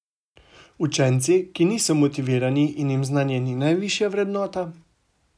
Učenci, ki niso motivirani in jim znanje ni najvišja vrednota?